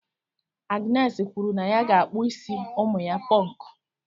Agnes kwuru na ya ga-akpụ isi ụmụ ya Pọnkụ.